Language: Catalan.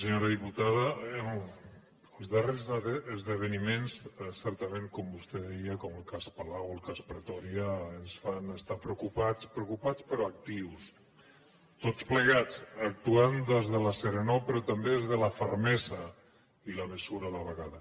senyora diputada els darrers esdeveniments certament com vostè deia com el cas palau el cas pretòria ens fan estar preocupats preocupats però actius tots plegats actuant des de la serenor però també des de la fermesa i la mesura a la vegada